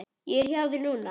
Ég er hjá þér núna.